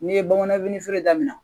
N'i ye bamananfeere daminɛ